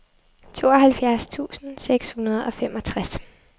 tooghalvfjerds tusind seks hundrede og femogtres